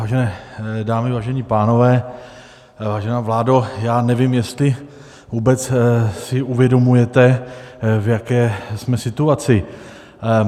Vážené dámy, vážení pánové, vážená vládo, já nevím, jestli vůbec si uvědomujete, v jaké jsme situaci.